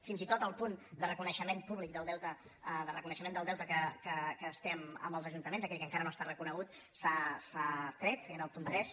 fins i tot el punt de reconeixement públic del deute de reconeixement del deute que es té amb els ajuntaments aquell que encara no està reconegut s’ha tret era el punt tres